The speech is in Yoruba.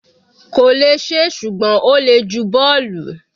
kò lè ṣe é, ṣùgbọ́n ó le ju bọ́ọ̀lù.